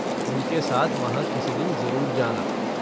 उनके साथ वहाँ किसी दिन जरुर जाना।